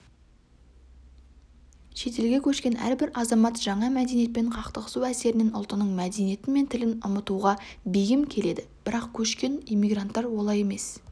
шетелге көшкен әрбір азамат жаңа мәдениетпен қақтығысу әсерінен ұлтының мәдениеті мен тілін ұмытуға бейім келеді бірақ көшкен иммигранттар олай емес